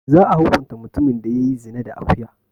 Za'a hukunta mutumin da ya yi zina da akuya.